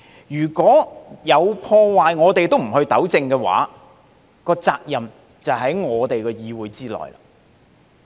如果有破壞，我們都不糾正，責任就在於議會。